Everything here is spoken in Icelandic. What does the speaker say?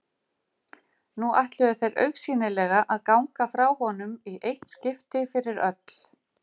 Nú ætluðu þeir augsýnilega að ganga frá honum í eitt skipti fyrir öll.